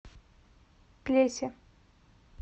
плесе